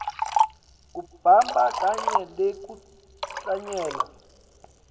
kubamba kanye nekuhlanyela